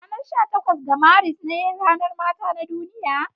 Ranar sha takwas ga Maris ne ranar mata na duniya.